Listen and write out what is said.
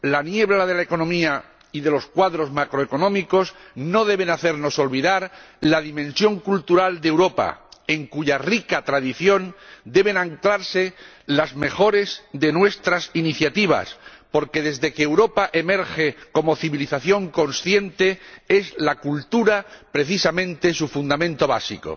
La niebla de la economía y de los cuadros macroeconómicos no debe hacernos olvidar la dimensión cultural de Europa, en cuya rica tradición deben anclarse las mejores de nuestras iniciativas, porque desde que Europa emerge como civilización consciente es la cultura, precisamente, su fundamento básico.